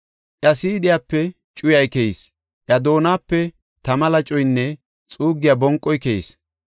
Iya siidhiyape cuyay keyis; iya doonape tama lacoynne xuuggiya bonqoy keyis.